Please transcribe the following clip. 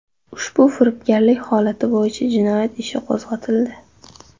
Ushbu firibgarlik holati bo‘yicha jinoyat ishi qo‘zg‘atildi.